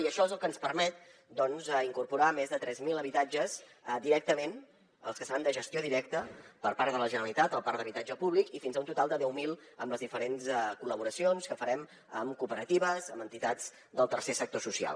i això és lo que ens permet incorporar més de tres mil habitatges directament els que seran de gestió directa per part de la generalitat el parc d’habitatge públic i fins a un total de deu mil amb les diferents col·laboracions que farem amb cooperatives amb entitats del tercer sector social